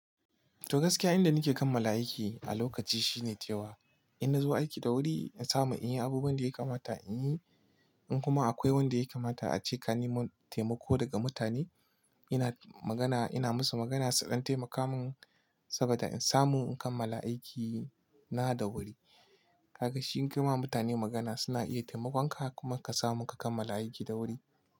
To gaskiya inda nake kammala aiki a lokaci shine cewa, ina zuwa aiki da wuri in samu in yi abubuwan da ya kamata in yi. In kuma akwai wanda ya kamata a ce ka ni mun taimako daga mutane, ina magana ina musu magana su ɗan taimaka mun saboda in samu in kammala aiki na da wuri. Haka shi yin kirmawa mutane magana suna iya taimakon ka kuma ka samu ka kammala aiki da wuri.